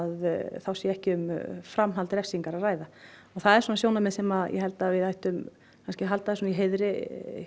þá sé ekki um framhald refsingar að ræða og það er sjónarmið sem ég held að við ættum að halda í heiðri